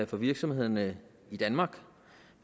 for virksomhederne i danmark